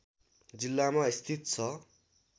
जिल्लामा स्थित छ